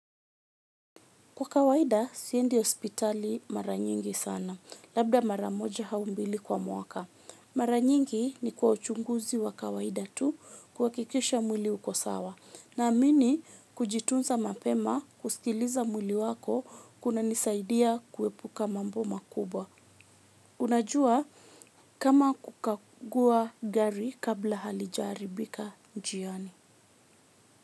Kwa kawaida, siendi hospitali mara nyingi sana, labda mara moja au mbili kwa mwaka. Mara nyingi ni kwa uchunguzi wa kawaida tu kuhakikisha mwili uko sawa. Naamini kujitunza mapema kusikiliza mwili wako kunanisaidia kuepuka mambo makubwa. Unajua kama kukagua gari kabla halijaharibika njiani.